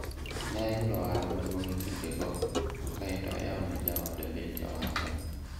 en ayudo ohala maduong' e kinde go kaeto ayawo ne jaoda bende ohala